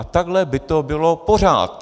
A takhle by to bylo pořád!